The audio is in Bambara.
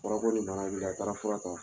Baara ko de nana wili a taara fura ta